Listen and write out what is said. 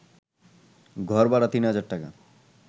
ঘরভাড়া তিন হাজার টাকা